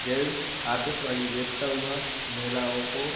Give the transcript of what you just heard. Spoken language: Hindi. जेंट्स आतिशबाजी बेचता हुआ महिलाओं को।